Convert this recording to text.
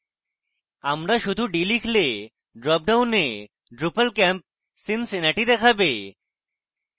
আপনি শুধু d লিখলে dropডাউনে drupal camp cincinnati দেখাবে